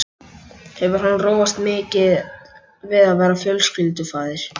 Hefur hann róast mikið við að verða fjölskyldufaðir?